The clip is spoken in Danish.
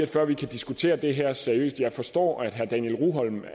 før vi kan diskutere det her seriøst jeg forstår at herre daniel rugholm